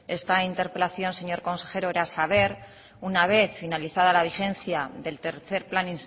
esta interpelación señor consejero era saber una vez finalizada la vigencia del tercer plan